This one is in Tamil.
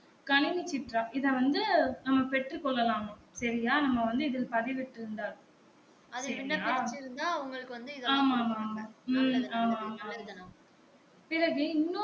கணினி சிட்டா இத வந்து நம்ப பெற்று கொள்ளலாமா செரியா நம்ப வந்து இதுல பதிவுட்டு இருந்தால் செரியா ஆமா ஆமா ஆமா உம் ஆமா ஆமா பிறகு இன்னொரு